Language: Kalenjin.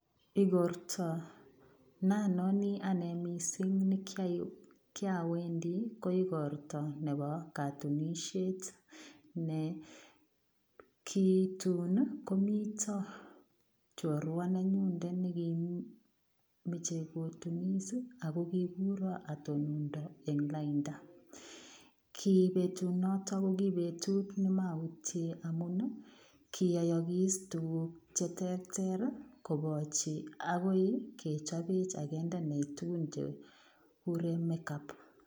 Igortaa naan nanii ane missing ne kiawendii ko igortaa nebo katunisiet ne ki tuun ii ko mitaa chorua nenyun nekimachei kotunis ii ako kiguraan atonondaa en laindaa, ki betut noton ko ki betut ne kimamuchi amuun ii kiayakis tuguuk che terter kobataa agoi kechabeech aginde tuguuk che kikureen make up